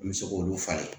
N bɛ se k'olu falen